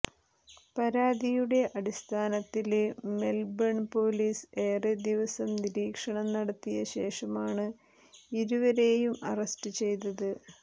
പരാതിയുടെ അടിസ്ഥാനത്തില് Melbourne police ഏറെ ദിവസം നിരീക്ഷണം നടത്തിയ ശേഷമാണ് ഇരുവരേയും അറസ്റ്റ് ചെയ്തത്